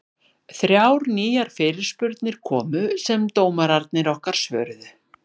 Þrjár nýjar fyrirspurnir komu sem dómararnir okkar svöruðu.